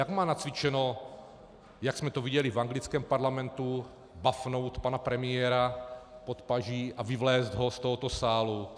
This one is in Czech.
Jak má nacvičeno, jak jsme to viděli v anglickém parlamentu, bafnout pana premiéra pod paží a vyvléct ho z tohoto sálu?